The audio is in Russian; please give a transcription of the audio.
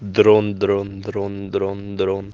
дрон дрон дрон дрон дрон